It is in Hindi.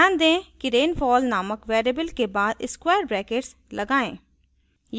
ध्यान दें कि rainfall नामक variable के बाद square ब्रैकेट्स लगाएं